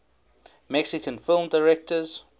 mexican film directors